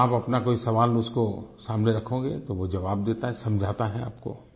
अगर आप अपना कोई सवाल उसके सामने रखोगे तो वो जवाब देता है समझाता है आपको